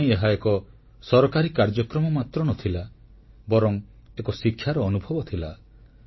ମୋପାଇଁ ଏହା ଏକ ସରକାରୀ କାର୍ଯ୍ୟକ୍ରମ ମାତ୍ର ନ ଥିଲା ବରଂ ଏକ ଶିକ୍ଷାର ଅନୁଭବ ଥିଲା